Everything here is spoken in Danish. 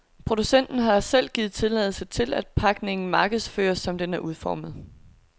Producenten har selv givet tilladelse til, at pakningen markedsføres, som den er udformet.